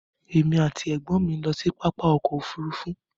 Èmi ati ẹ̀gbọ́n mi n lọ sí pápá ọkọ òfúrúúfú.